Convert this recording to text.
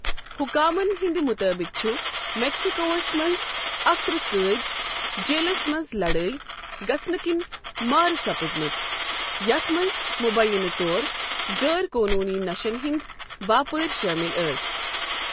حُکامن ہندِ مُطٲبِق چھِ میٚکسِکوہس منٛز اکہٕ ترٕہ قٲدۍ جیلس منٛز لَڑٲیۍ گَژھنہٕ کِنہِ مارٕ سَپٕدمٕتۍ ، یتھ منٛز مُبینہٕ طور غٲر قونوٗنی نشن ہندۍ باپٲرۍ شٲمِل ٲسۍ ۔